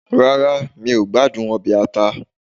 Rárá, mi ò gbádùn ọbẹ̀ ata